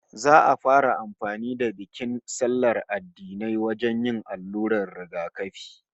Za'a fara yin amfani da bikin sallar addinai wajen yin allurar rigakafi